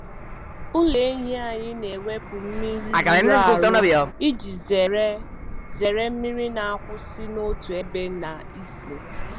Ụlọ ehi anyị na-ewepụ mmiri rụrụ arụ iji zere zere mmiri na-akwụsị n’otu ebe na ísì.